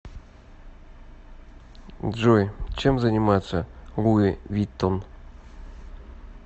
джой чем занимается луи виттон